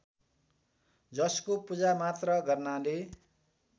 जसको पूजामात्र गर्नाले